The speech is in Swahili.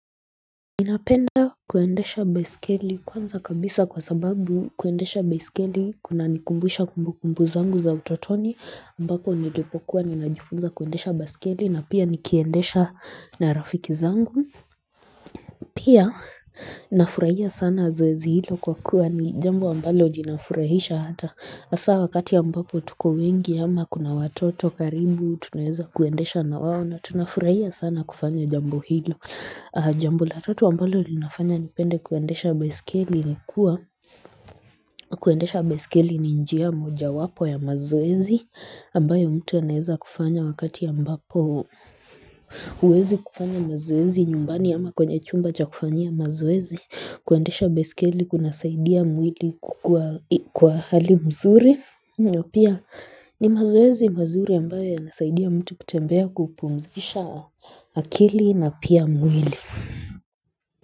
Ninapenda kuendesha besikili kwanza kabisa kwa sababu kuendesha besikili kuna nikumbuisha kumbukumbu zangu za utotoni ambako nidepokuwa ninajifunza kuendesha besikili na pia nikiendesha narafiki zangu Pia nafurahia sana zoeezi hilo kwa kuwa ni jambo ambalo linafurahisha hata asa wakati ya mbapo tuko wengi ama kuna watoto karibu tunaeza kuendesha na wawo na tunafurahia sana kufanya jambo hilo. Jambo la tatu wa mbalo linafanya nipende kuendesha besikili ni kuwa kuendesha besikili ni njia moja wapo ya mazoezi ambayo mtu anaeza kufanya wakati ya mbapo Uwezi kufanya mazoezi nyumbani ama kwenye chumba cha kufanya mazoezi kuendesha besikili kunasaidia mwili kukua hali mzuri Pia ni mazoezi mazuri ambayo ya nasaidia mtu kutembea kupumzisha akili na pia mwili.